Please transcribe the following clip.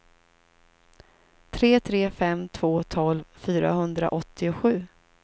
tre tre fem två tolv fyrahundraåttiosju